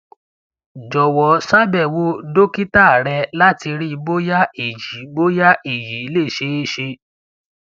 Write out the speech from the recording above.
jọwọ ṣàbẹwò dókítà rẹ láti rí bóyá èyí bóyá èyí le ṣeé ṣe